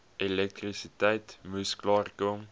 elektrisiteit moes klaarkom